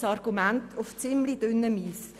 Dieses Argument bewegt sich auf dünnem Eis.